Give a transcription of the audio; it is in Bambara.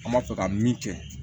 An b'a fɛ ka min kɛ